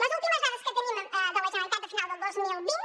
les últimes dades que tenim de la generalitat de final del dos mil vint